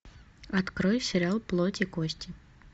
открой сериал плоть и кости